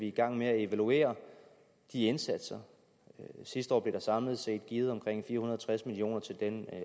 i gang med at evaluere de indsatser sidste år blev der samlet set givet omkring fire hundrede